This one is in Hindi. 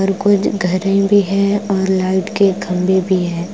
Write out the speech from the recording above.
और कुछ घर वरी है और लाइट के खंभे भी है।